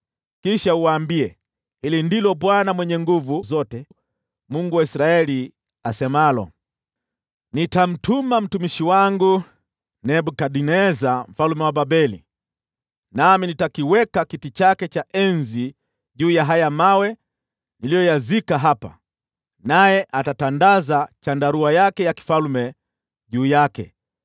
Kisha uwaambie, ‘Hili ndilo Bwana Mwenye Nguvu Zote, Mungu wa Israeli, asemalo: Nitamtumania mtumishi wangu Nebukadneza mfalme wa Babeli, nami nitakiweka kiti chake cha enzi juu ya haya mawe niliyoyazika hapa, naye atatandaza hema yake ya ufalme juu yake.